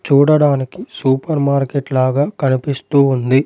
చూడడానికి supermarket లాగా కనిపిస్తూ ఉంది.